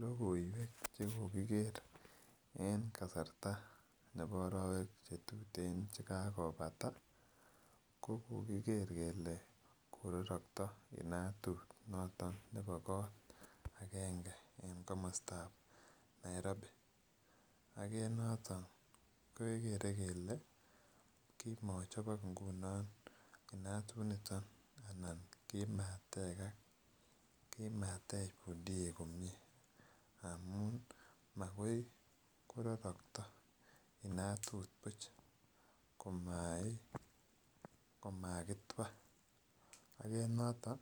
Lokoiwek chekokiker en kasarta nebo orowek chetuten chekakopata ko kokiker kele kororokto inatut noton nebo kot agenge en komostab Nairobi ak en noton kekere kele kimochobok ingunon inatunitin anan kimatekak, kimatech pundiek komie amun makai kororokto inatut buch komau komakitwa. Ak en noton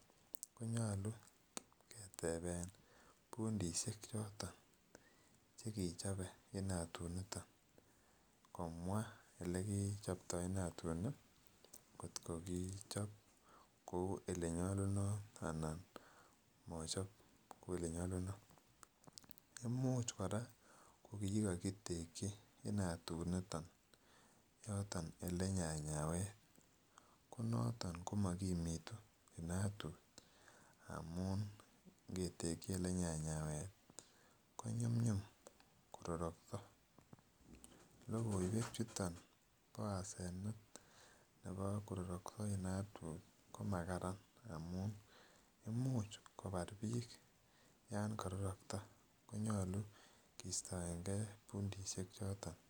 konyolu ketebe Pundishek choton chekichobe inatut niton komwa olekichoptoo inatut niton nii kotko kochop kou olenyolunot anan mochop kou olenyolunot, imuch koraa ko kokigokiteki inatut niton olenyanyawet ko noton komokimitu inatut aum ingeteki Ile nyanyawet konyumyum kororokto. Lokoiwek chuton bo asenet kororokto inatut kimakaran amun imuch kobar bik yon kororokto konyolu kistoengee Pundishek choton.